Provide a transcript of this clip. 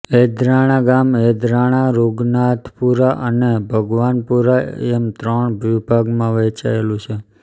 એદરાણા ગામ એદરાણા રૂગનાથપુરા અને ભગવાનપુરા એમ ત્રણ વિભાગમાં વહેચાયેલું છે